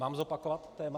Mám zopakovat téma?